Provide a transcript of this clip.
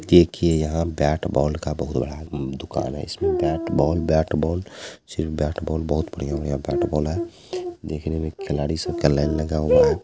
देखिए यहां bat ball का बहुत बड़ा दुकान है इसमें बैट बॉल बैट बॉल सिर्फ बैट बॉल बहुत बढ़िया-बढ़िया बैट बॉल है देखने में खिलाड़ी सब का लाईन लगा हुआ है।